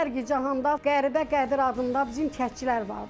Kərkicahanda qəribə Qədir adında bizim kəndçilər vardı.